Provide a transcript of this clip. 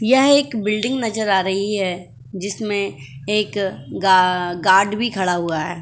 यह एक बिल्डिंग नजर आ रही है। जिसमें एक गा गार्ड भी खड़ा हुआ है।